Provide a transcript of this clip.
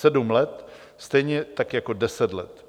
Sedm let, stejně tak jako deset let.